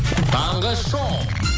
таңғы шоу